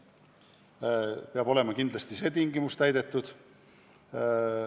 See tingimus peab olema kindlasti täidetud.